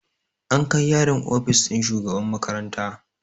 An kai yaron ofis ɗin shugaban makaranta